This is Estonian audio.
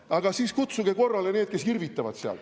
Aga siis kutsuge korrale need, kes irvitavad seal.